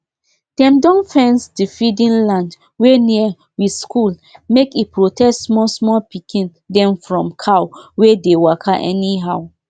the group wey dey work togeda don train people how to do dey feed animal turn-by-turn and keep the field clean.